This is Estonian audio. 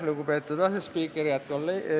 Lugupeetud asespiiker!